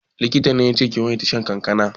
Likita ne yace ki yawaita shan kankana?